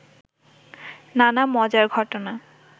নানা মজার ঘটনা